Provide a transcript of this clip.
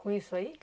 Com isso aí?